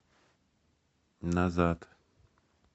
назад